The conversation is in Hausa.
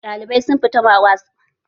Ɗalibai sun fita wasan motsa jiki